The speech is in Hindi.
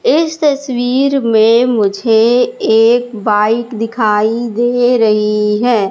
इस तस्वीर में मुझे एक बाइक दिखाई दे रही है।